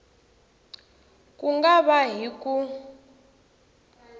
ku nga va hi ku